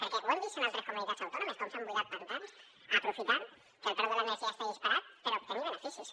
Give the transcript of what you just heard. perquè ho hem vist en altres comunitats autònomes com s’han buidat pantans aprofitant que el preu de l’energia està disparat per obtenir benefi·cis